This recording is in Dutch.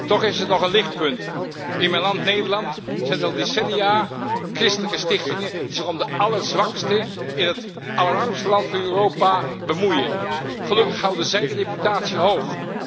Toch is er nog een lichtpunt. In mijn land, Nederland, zijn er al decennia christelijke stichtingen die zich om de allerzwaksten in het allerarmste land van Europa bemoeien. Gelukkig houden zij de reputatie hoog.